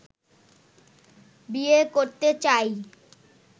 বিয়ে করতে চাই